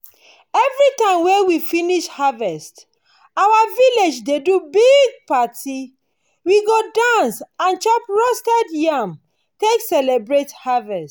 everytime wey we finish harvest our village dey do big party. we go dance and chop roasted yam take celebrate harvest.